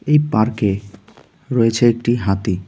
এই পার্কে রয়েছে একটি হাতি.